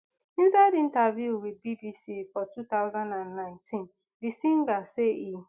inside interview with bbc for two thousand and nineteen di singer say e